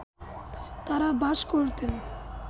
তাঁরা বাস করতেন